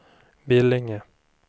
Billinge